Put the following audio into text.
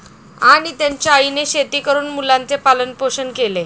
आणि त्यांच्या आईने शेती करून मुलांचे पालनपोषण केले.